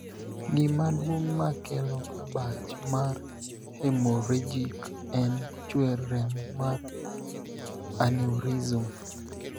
Gima duong' ma kelo abach mar 'hemorrhagic' en chwer remo mar 'aneurysm'.